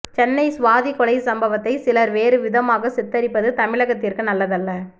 சென்னை சுவாதி கொலை சம்பவத்தை சிலர் வேறு விதமாக சித்தரிப்பது தமிழகத்திற்கு நல்லதல்ல